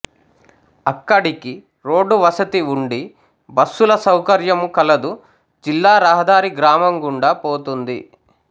అక్కడికి రోడ్డు వసతి వుండి బస్సుల సౌకర్యము కలదుజిల్లా రహదారి గ్రామం గుండా పోతోంది